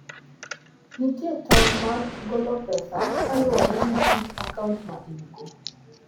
Nitie tong ' mag golo pesa kaluwore gi kit akaunt ma in - go.